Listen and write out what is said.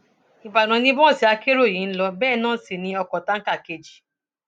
ìbàdàn ni bọọsì akérò yìí ń lò bẹẹ náà sí ní ọkọ táǹkà kejì